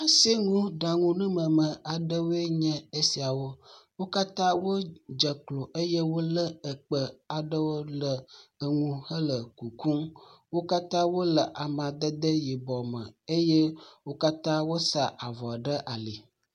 Asinuɖaŋunumeme aɖewoe nye esiawo. Wo katã wodze klo eye wole ekpe aɖewo ɖe enu hele kukum. Wo katã wole amadede yibɔ me eye wo katã wosa avɔ ɖe ali.